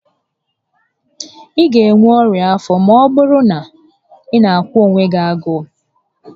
Ị ga enwe ọnya afọ maọbụrụ na ị na aka onwe gị agụụ